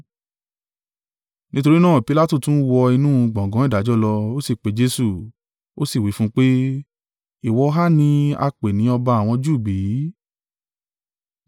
Nítorí náà, Pilatu tún wọ inú gbọ̀ngàn ìdájọ́ lọ, ó sì pe Jesu, ó sì wí fún un pé, “Ìwọ ha ni a pè ni ọba àwọn Júù bí?”